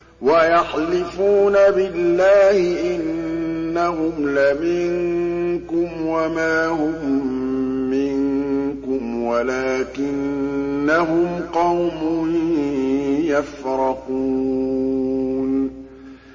وَيَحْلِفُونَ بِاللَّهِ إِنَّهُمْ لَمِنكُمْ وَمَا هُم مِّنكُمْ وَلَٰكِنَّهُمْ قَوْمٌ يَفْرَقُونَ